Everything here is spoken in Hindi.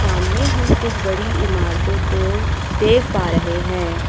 सामने हम कुछ बड़ी इमारतों को देख पा रहे हैं।